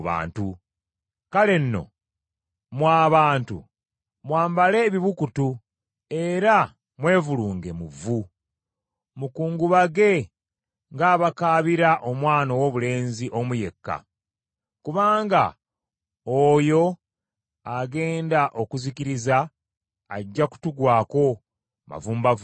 Kale nno mmwe abantu, mwambale ebibukutu era mwevulunge mu vvu; mukungubage ng’abakaabira omwana owoobulenzi omu yekka. Kubanga oyo agenda okuzikiriza ajja kutugwako mavumbavumba.